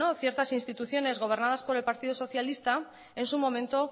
ciertas instituciones gobernadas por el partido socialista en su momento